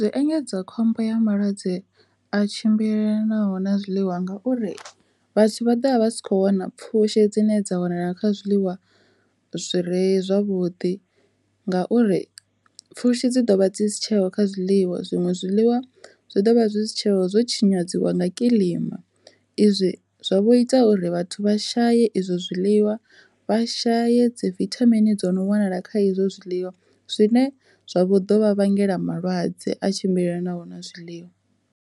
Zwi engedza khombo ya malwadze a tshimbilelanaho na zwiḽiwa ngauri vhathu vha ḓo vha vha si kho wana pfhushi dzine dza wanala kha zwiḽiwa zwi re zwavhuḓi, ngauri pfhushi dzi dovha dzi si tsheho kha zwiḽiwa zwiṅwe zwiḽiwa zwi ḓovha zwi si tsheho zwo tshinyadzwa nga kilima izwi zwo ita uri vhathu vha shaye izwo zwiḽiwa vha shaye dzi vithamini dzo no wanala kha izwo zwiḽiwa zwine zwa vho dovha vhangela malwadze a tshimbilelanaho na zwiḽiwa.